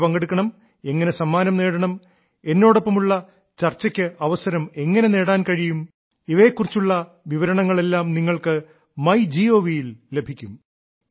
എങ്ങനെ പങ്കെടുക്കണം എങ്ങനെ സമ്മാനം നേടണം എന്നോടൊപ്പമുള്ള ഡിസ്കഷനുള്ള അവസരം എങ്ങനെ നേടാൻ കഴിയും ഇവയെ കുറിച്ചുള്ള വിവരണങ്ങളെല്ലാം നിങ്ങൾക്ക് മൈ ഗോവ് യിൽ ലഭിക്കും